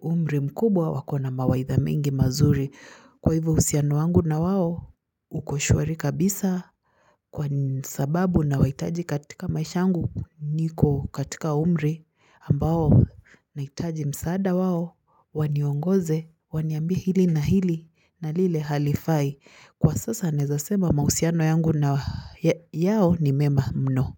umri mkubwa wako na mawaidha mengi mazuri kwa hivyo uhusiano wangu na wao uko shwari kabisa kwa sababu nawahitaji katika maisha yangu niko katika umri ambao nahitaji msaada wao waniongoze, waniambie hili na hili na lile halifai kwa sasa naweza sema mahusiano yangu na yao ni mema mno.